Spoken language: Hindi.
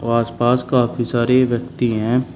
आस पास काफ़ी सारे व्यक्ति हैं।